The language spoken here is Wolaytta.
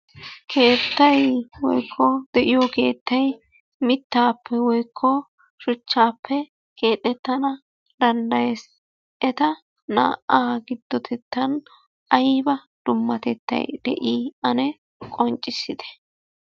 Keettay woykko de'iyo keettay mittaappe woykko shuchchaappe keexxettana danddayees. Eta naa"aa giddotettan ayba dummatettay de'i ane qonccissite.